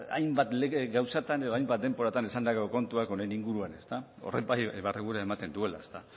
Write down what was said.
hainbat lege gauzatan edo hainbat denboratan esandako kontuak honen inguruan horrek bai barregurea ematen duela ezta